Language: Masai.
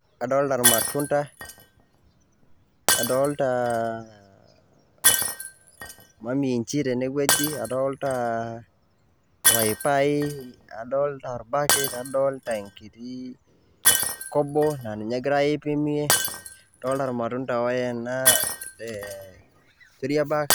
Kadolta ilmatunda, adolta [] maminji tenewueji, adolta paipai, adolta orpaki, adolta enkiti kobo, na ninye egirai aipimie. Adolta ilmatunda oena eh keriebag..